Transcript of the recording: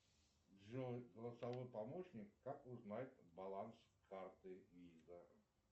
джой голосовой помощник как узнать баланс карты виза